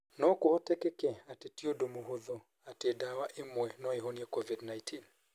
No kũhoteke atĩ ti ũndũ mũhũthũ atĩ ndawa ĩmwe no ĩhonie COVID-19.